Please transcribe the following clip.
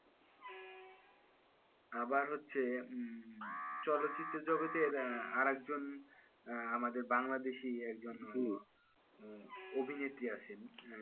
আবার হচ্ছে হম চলচ্চিত্র জগতের আহ আর একজন আহ আমাদের বাংলাদেশী একজন অভিনেত্রী আছেন,